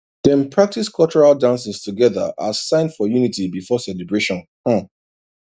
dem practice cultural dances together as sign for unity before celebration um